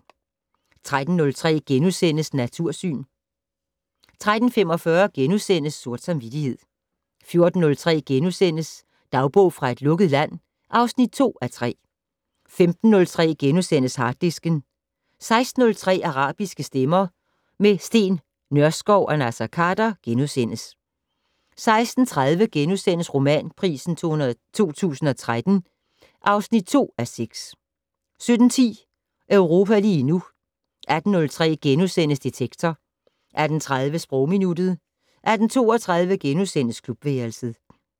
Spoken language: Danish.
13:03: Natursyn * 13:45: Sort samvittighed * 14:03: Dagbog fra et lukket land (2:3)* 15:03: Harddisken * 16:03: Arabiske stemmer - med Steen Nørskov og Naser Khader * 16:30: Romanpris 2013 (2:6)* 17:10: Europa lige nu 18:03: Detektor * 18:30: Sprogminuttet 18:32: Klubværelset *